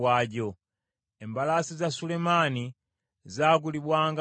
Embalaasi za Sulemaani zaagulibwanga mu Misiri.